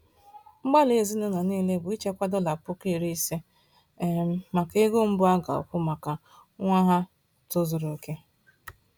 Mgbalị ezinụlọ niile bụ ichekwa dollar 50,000 um maka ego mbu a ga-akwụ maka nwa ha tozuru oke.